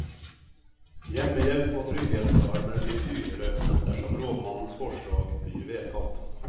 Hjemmehjelp og trygghetsalarmer blir dyrere, dersom rådmannens forslag blir vedtatt.